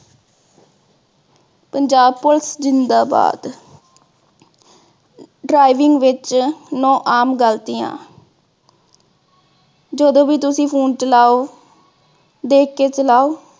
Punjab police ਜ਼ਿੰਦਾਬਾਦ । driving ਵਿਚ ਨੌ ਆਮ ਗਲਤੀਆਂ, ਜਦੋਂ ਵੀ ਤੁਸੀਂ phone ਚਲਾਵੋ ਦੇਖ ਕੇ ਚਲਾਓ।